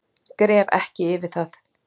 Gref ekki yfir það.